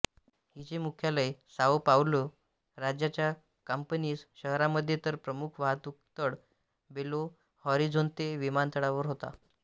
हिचे मुख्यालय Sao Paulo राज्याच्या कांपिनास शहरामध्ये तर प्रमुख वाहतूकतळ बेलो हॉरिझोन्ते विमानतळावर होता